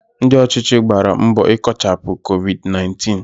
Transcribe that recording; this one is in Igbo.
Ndị ọchịchị gbàrà mbọ ikochapu Covid 19